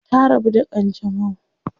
Ta rabu da kanjamau.